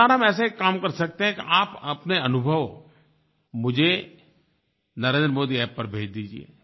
इस बार हम ऐसा एक काम कर सकते हैं कि आप अपने अनुभव मुझे नरेंद्र मोदी अप्प पर भेज दीजिये